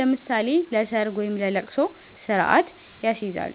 (ለምሳሌ ለሰርግ ወይም ለልቅሶ) ስርአት ያስይዛሉ።